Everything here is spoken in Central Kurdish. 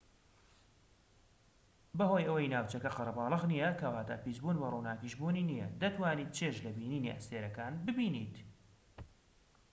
بەهۆی ئەوەی ناوچەکە قەرەباڵغ نیە کەواتە پیسبوون بە ڕووناکیش بوونی نیە دەتوانیت چێژ لە بینینی ئەستێرەکان ببینیت